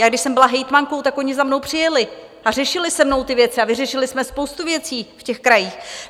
Já když jsem byla hejtmankou, tak oni za mnou přijeli a řešili se mnou ty věci a vyřešili jsme spoustu věcí v těch krajích.